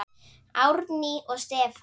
Árný og Stefán.